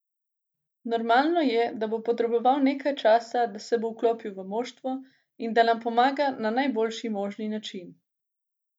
Normalno je, da bo potreboval nekaj časa, da se bo vklopil v moštvo in da nam pomaga na najboljši možni način.